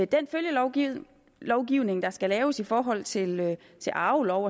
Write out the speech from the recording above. den følgelovgivning der skal laves i forhold til til arvelov